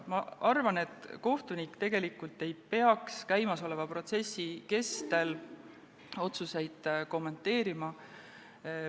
Ma arvan, et kohtunik ei peaks käimasoleva protsessi kestel otsuseid kommenteerima.